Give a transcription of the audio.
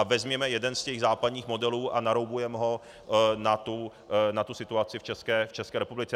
A vezměme jeden z těch západních modelů a naroubujme ho na tu situaci v České republice.